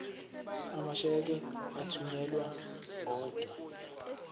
amasheke athunyelwa odwa